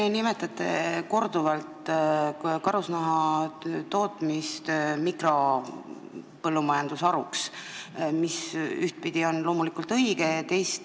Te nimetasite korduvalt karusnahatootmist mikropõllumajandusharuks, mis ühtpidi on loomulikult õige.